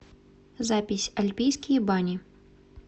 запись альпийские бани